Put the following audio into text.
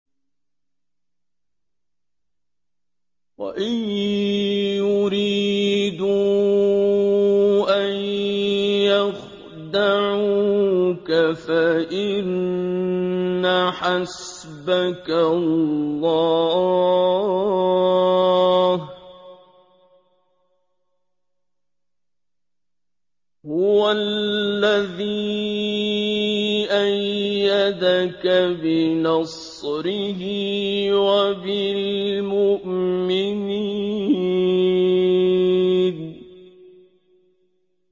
وَإِن يُرِيدُوا أَن يَخْدَعُوكَ فَإِنَّ حَسْبَكَ اللَّهُ ۚ هُوَ الَّذِي أَيَّدَكَ بِنَصْرِهِ وَبِالْمُؤْمِنِينَ